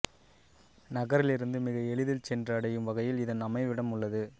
நகரிலிருந்து மிக எளிதில் சென்று அடையும் வகையில் இதன் அமைவிடம் உள்ளது